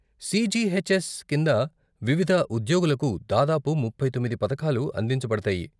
CGHS కింద వివిధ ఉద్యోగులకు దాదాపు ముప్పై తొమ్మిది పథకాలు అందించబడతాయి.